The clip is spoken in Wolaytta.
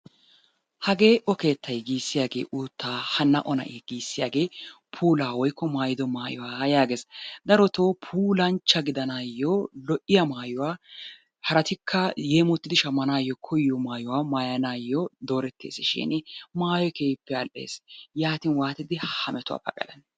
Hagee O keettay giissiyagee uuttaa. Hanna O na'ee giissiyagee puulaa woykko maayido maayuwa yaagees. Darotoo puulanchcha gidanaayyo lo"iya maayuwa haratikka yeemottidi shammanaayyo koyiyo maayuwa maayanaayyo dooretteesishiini maayoy keehippe al"ees. Yaatin waatidi ha metuwa pagalanee?